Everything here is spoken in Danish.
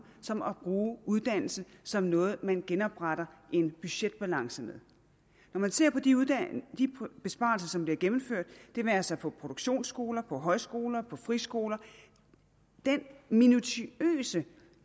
som at bruge uddannelse som noget man genopretter en budgetbalance med når man ser på de besparelser som bliver gennemført det være sig på produktionsskoler på højskoler på friskoler den minutiøse